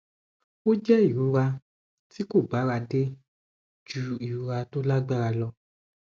ó jẹ ìrora tí kò bára dé ju ìrora tó lágbára lọ